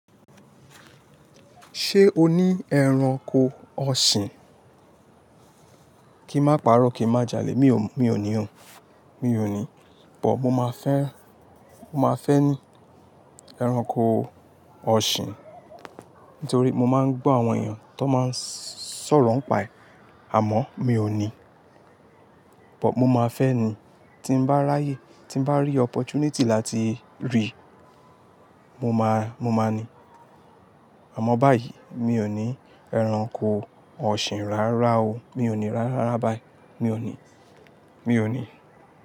Ṣé o ní ẹranko ọ̀ṣìn? Kí ma paro, kí ma jà lé, mi ò ní ò. Mi ò ní. But, mo máa fẹ́, mo máa fẹ́ ní ẹranko ọ̀ṣìn. Nítorí mo máa ń gbọ́ àwọn èèyàn tó máa ń sọ̀rọ̀ ń pàá ẹ, àmọ́ mi ò ní. But mo máa fẹ́ ni. Tí mo bá ráyè, tí mo bá rí opportunity láti rí, mo máa, mo máa ní. Àmọ́ báyìí mi ò ní ẹranko ọ̀ṣìn rárá o. Mi ò ní rárá báyìí. Mi ò ní, mi ò ní.